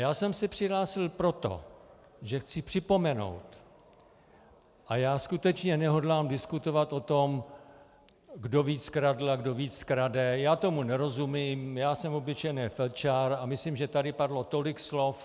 Já jsem se přihlásil proto, že chci připomenout, a já skutečně nehodlám diskutovat o tom, kdo víc kradl a kdo víc krade, já tomu nerozumím, já jsem obyčejný felčar a myslím, že tady padlo tolik slov.